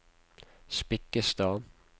Spikkestad